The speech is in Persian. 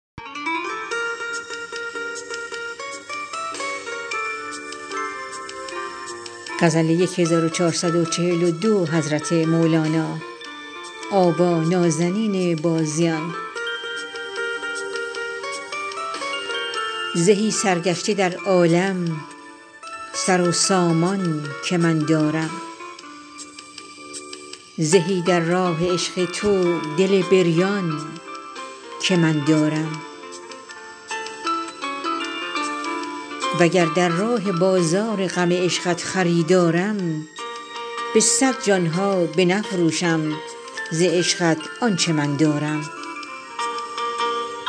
زهی سرگشته در عالم سر و سامان که من دارم زهی در راه عشق تو دل بریان که من دارم وگر در راه بازار غم عشقت خریدارم به صد جان ها بنفروشم ز عشقت آنچ من دارم